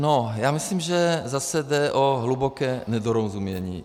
No, já myslím, že zase jde o hluboké nedorozumění.